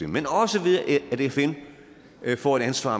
men også ved at fn får et ansvar